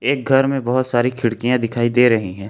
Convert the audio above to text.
एक घर में बहुत सारी खिड़कियां दिखाई दे रही हैं।